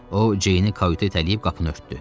O, ceyni qaytedəyib qapını örtdü.